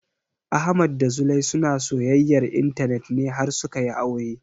Ahmad da Zulai suna soyayyar intanet ne har suka yi aure